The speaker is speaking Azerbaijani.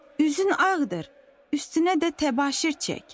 Üzün ağdır, üstünə də təbaşir çək.